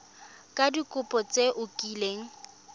ka dikopo tse o kileng